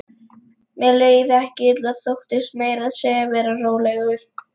Mér leið ekki illa, þóttist meira að segja vera rólegur.